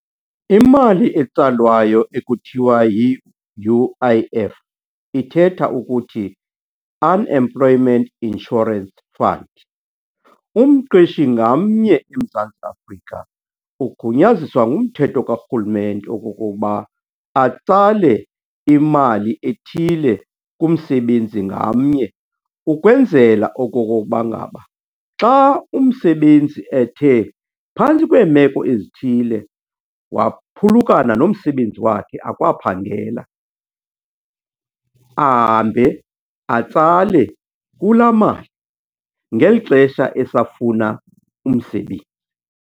Imali etsalwayo ekuthiwa yi-U_I_F ithetha ukuthi Unemployment Insurance Fund. Umqeshi ngamnye eMzantsi Afrika ugunyaziswa ngumthetho karhulumente okokokuba atsale imali ethile kumsebenzi ngamnye ukwenzela okokokuba ngaba xa umsebenzi ethe phantsi kweemeko ezithile waphulukana nomsebenzi wakhe akwaphangela, ahambe atsale kulaa mali ngeli xesha esafuna umsebenzi.